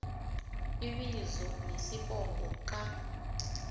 ibizo nesibongo ka